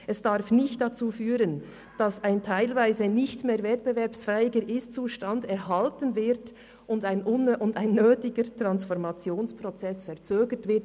Es darf nicht dazu führen, dass ein nicht mehr wettbewerbsfähiger Ist-Zustand erhalten und ein nötiger Transformationsprozess verzögert wird.